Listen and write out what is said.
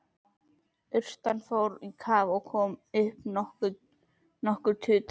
Urtan fór í kaf en kom upp nokkru utar.